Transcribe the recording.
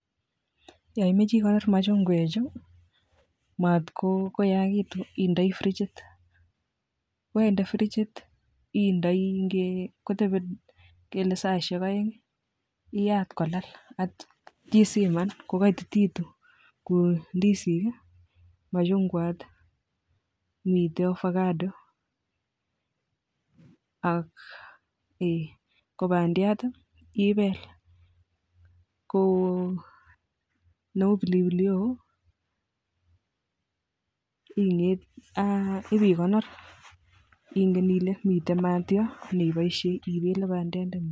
Yon imoche ikonoor machingwechu komatkoyagiitun indoor frichit, koyendee frichit kotebii ingele saisiek oeng iaat kolal yeityoo isiman kokoititun ,ko ndisik ,machungwat ak miten ovacado .Ak bandiat ibel neo pilipili hoho ibeikonor ngamun ingen Ile miten maat yon neiboishien ibele bandiandengung